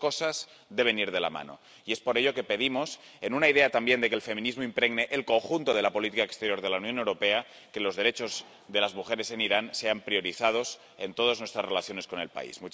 Las dos cosas deben ir de la mano, y es por ello que pedimos, en una idea también de que el feminismo impregne el conjunto de la política exterior de la Unión Europea, que los derechos de las mujeres en Irán sean priorizados en todas nuestras relaciones con el país.